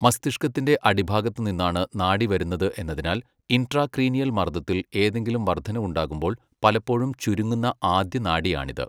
മസ്തിഷ്കത്തിന്റെ അടിഭാഗത്ത് നിന്നാണ് നാഡി വരുന്നത് എന്നതിനാൽ, ഇൻട്രാക്രീനിയൽ മർദ്ദത്തിൽ എന്തെങ്കിലും വർദ്ധനവുണ്ടാകുമ്പോൾ പലപ്പോഴും ചുരുങ്ങുന്ന ആദ്യ നാഡിയാണിത്.